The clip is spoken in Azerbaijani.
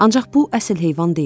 Ancaq bu əsl heyvan deyil.